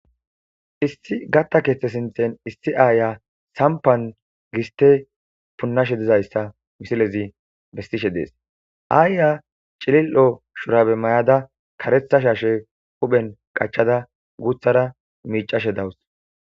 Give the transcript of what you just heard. issi gatta keeththe sinthen issi aaya sampan giste punnashe dizayssa misilezi bestishe dees aayya cilil7o shurabe may7ada karetha shashe huphen qachada guthara miicashe dawus